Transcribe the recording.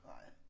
Nej